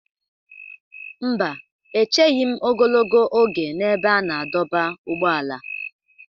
Mba, echeghị m ogologo oge n'ebe a na-adọba ụgbọala.